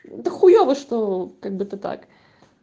да хуёво что как бы так